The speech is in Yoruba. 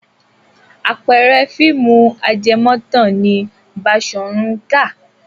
Àpẹẹrẹ fíìmù ajẹmọ́tàn ni Baṣọ̀run Gáà.